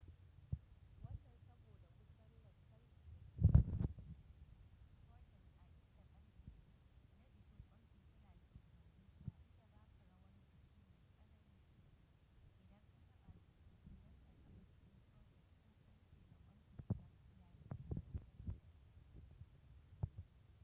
wannan saboda wutan lantarki da ke shigan socket a inda karfe na jikin kwan fitila ke zaune na iya baka rawar jiki mai tsanani idan ka taba cikin socket ko karfe na kwan fitilan yayinda yake hade da socket